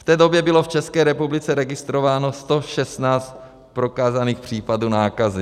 V té době bylo v České republice registrováno 116 prokázaných případů nákazy.